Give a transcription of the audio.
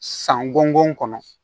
San gɔngɔn kɔnɔ